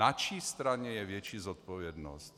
Na čí straně je větší zodpovědnost?